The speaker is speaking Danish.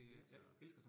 Helt sikkert